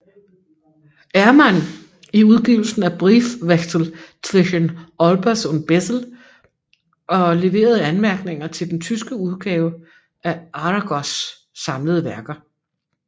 Ermann i udgivelsen af Briefwechsel zwischen Olbers und Bessel og leverede anmærkninger til den tyske udgave af Aragos samlede værker